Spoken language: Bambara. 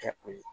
Kɛ o ye